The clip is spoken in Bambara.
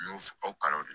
N y'o aw kala de